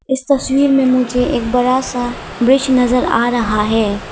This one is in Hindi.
इस तस्वीर में मुझे एक बड़ा सा ब्रिज नजर आ रहा है।